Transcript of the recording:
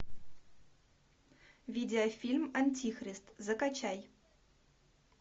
видеофильм антихрист закачай